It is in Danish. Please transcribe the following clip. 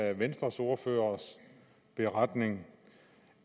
af venstres ordførers beretning